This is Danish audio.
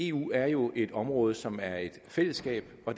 eu er jo et område som er et fællesskab og